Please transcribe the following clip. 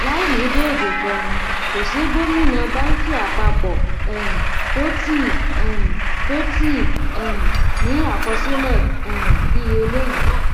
láìní déédé pẹnú kò sí gómìnà bánkì àpapọ um tó tíì um tó tíì um ní àkọsílẹ um bí eléyìí